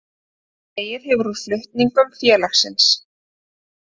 Dregið hefur úr flutningum félagsins